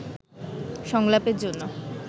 সংলাপের জন্য